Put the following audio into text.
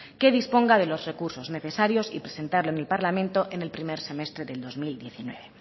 que disponga de los recursos necesarios y presentarlo en el parlamento en el primer semestre del dos mil diecinueve